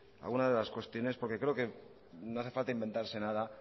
algunas de las cuestiones porque creo que no hace falta inventarse nada